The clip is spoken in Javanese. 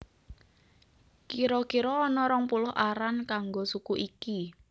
Kira kira ana rong puluh aran kanggo suku iki